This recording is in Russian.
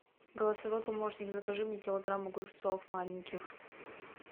голосовой помощник закажи мне килограмм огурцов маленьких